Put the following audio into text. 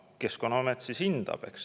Keskkonnaamet siis hindab, eks.